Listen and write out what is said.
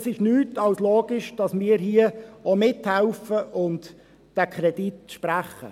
Es ist nichts als logisch, dass wir hier auch mithelfen und diesen Kredit sprechen.